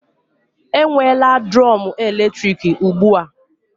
E nwela drum eletrik ụgbụa